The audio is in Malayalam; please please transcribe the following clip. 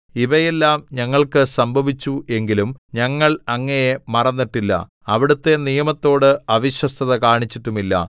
ഇവയെല്ലാം ഞങ്ങൾക്ക് സംഭവിച്ചു എങ്കിലും ഞങ്ങൾ അങ്ങയെ മറന്നിട്ടില്ല അവിടുത്തെ നിയമത്തോട് അവിശ്വസ്തത കാണിച്ചിട്ടുമില്ല